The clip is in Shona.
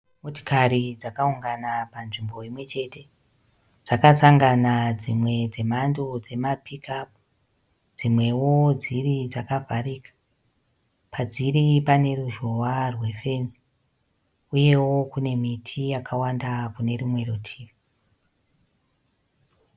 Motikari dzakaungana panzvimbo imwe chete. Dzakasangana dzimwe dze mhando dzema Pick up. Dzimwewo dziri dzakavharika. Padziri pane ruzhowa rwe fenzi , uyewo kune miti yakawanda kune rumwe rutivi.